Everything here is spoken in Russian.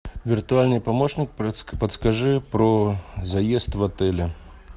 виртуальный помощник подскажи про заезд в отеле